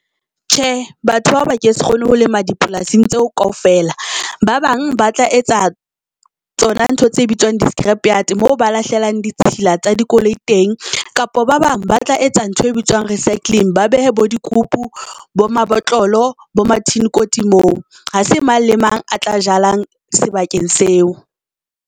Tjhe, batho bao ba ke se kgone ho lema dipolasing tseo kaofela. Ba bang ba tla etsa tsona ntho tse bitswang di-scrap yard moo ba lahlelang ditshila tsa dikoloi teng. Kapa ba bang ba tla etsa ntho e bitswang recycling ba behe bo dikupu, bo mabotlolo, bo mathini-koti moo. Ha se mang le mang a tla jalang sebakeng seo.